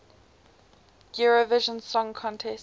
eurovision song contest